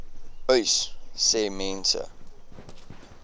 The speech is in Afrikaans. uys sê mense